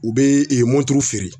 U bɛ moto feere